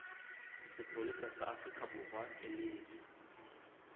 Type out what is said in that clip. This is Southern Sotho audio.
sepolesa sa aforikaborwa e lefe